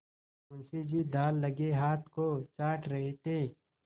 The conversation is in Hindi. मुंशी जी दाललगे हाथ को चाट रहे थे